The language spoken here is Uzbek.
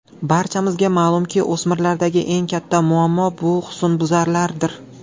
Barchamizga ma’lumki, o‘smirlardagi eng katta muammo bu husnbuzarlardir.